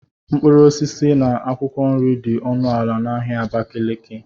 Mkpụrụ osisi na akwụkwọ nri dị ọnụ ala na ahịa Abakaliki